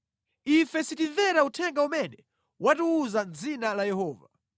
“Ife sitimvera uthenga umene watiwuza mʼdzina la Yehova!